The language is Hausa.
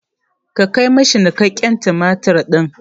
Ka kai ma shi niƙaƙƙen tumatir ɗin!